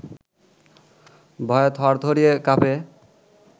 ভয়ে থরথরিয়ে কাঁপে